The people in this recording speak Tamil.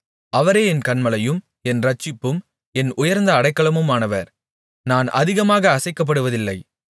அவரே என் கன்மலையும் என் இரட்சிப்பும் என் உயர்ந்த அடைக்கலமுமானவர் நான் அதிகமாக அசைக்கப்படுவதில்லை